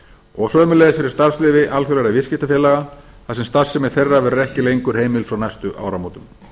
og sömuleiðis fyrir starfsleyfi alþjóðlegra viðskiptafélaga þar sem starfsemi þeirra verður ekki lengur heimil frá næstu áramótum